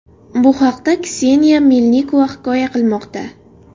Bu haqda Kseniya Melnikova hikoya qilmoqda .